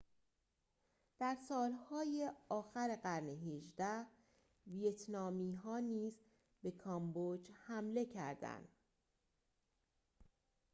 در سالهای آخر قرن ۱۸ ویتنامی ها نیز به کامبوج حمله کردند